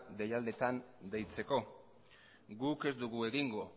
deialdietan deitzeko guk ez dugu egingo